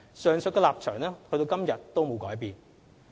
上述立場至今沒有改變。